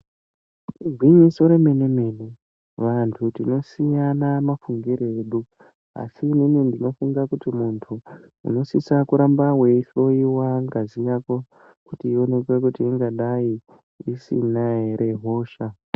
Igwinyiso remenemene vantu tinosiyana mafungiro edu. ASI ini ndinofunga kuti muntu inosisa kuramba weihloiwa ngazi yako kuti ingadai isina ere mhosva.